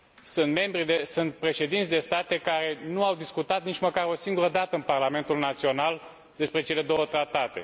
Sunt președinți de state care nu au discutat nici măcar o singură dată în parlamentul național despre cele două tratate.